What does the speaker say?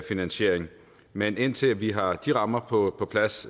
finansiering men indtil vi har de rammer på plads